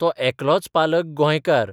तो एकलोच पालक गोंयकार.